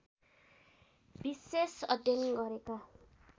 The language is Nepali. विशेष अध्ययन गरेका